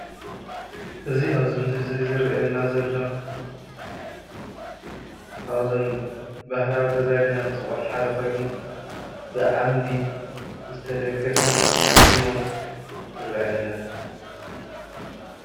እዚ ኣብዚ ምስሊ እዙይ ዝረኣየና ዘሎ ካብዞም ባህላዊ ገዛ ኢልና እንፅውዖ ሓደ ኮይኑ ብ ዓምዲ ዝተደገፈ ህድሞ ይረኣየና።